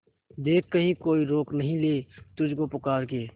देख कहीं कोई रोक नहीं ले तुझको पुकार के